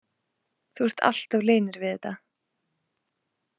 Þú ert alltof linur við þetta.